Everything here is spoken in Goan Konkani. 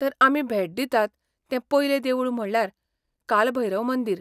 तर आमी भेट दितात तें पयलें देवूळ म्हणल्यार काल भैरव मंदिर.